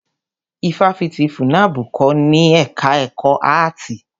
Ifáfitì FUNAB kò ní ẹka ẹ̀kọ́ áàtì.